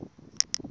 ndlopfu a yi fi hi